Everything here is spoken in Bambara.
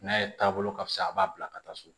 N'a ye taabolo ka fisa a b'a bila ka taa so